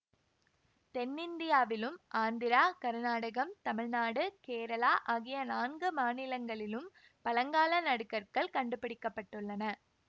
தென்னிந்தியாவிலும் ஆந்திரா கருநாடகம் தமிழ்நாடு கேரளா ஆகிய நான்கு மாநிலங்களிலும் பழங்கால நடுகற்கள் கண்டுபிடிக்க பட்டுள்ளன